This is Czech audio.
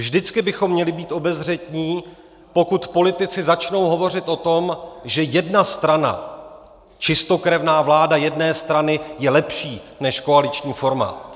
Vždycky bychom měli být obezřetní, pokud politici začnou hovořit o tom, že jedna strana, čistokrevná vláda jedné strany, je lepší než koaliční forma.